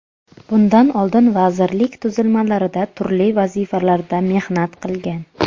Bundan oldin vazirlik tuzilmalarida turli vazifalarda mehnat qilgan.